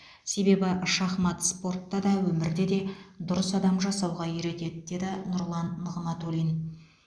себебі шахмат спортта да өмірде де дұрыс адам жасауға үйретеді деді нұрлан нығматулин